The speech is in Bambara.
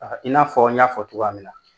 Aa i n'a fɔ n y'a fɔ togoya min na .